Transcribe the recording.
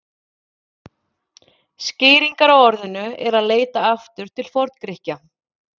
Skýringar á orðinu er að leita aftur til Forngrikkja.